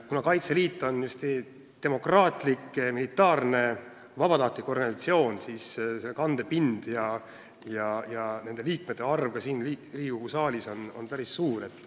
Kuna Kaitseliit on hästi demokraatlik militaarne vabatahtlik organisatsioon, siis on tema kandepind ja liikmete arv ka siin Riigikogu saalis päris suur.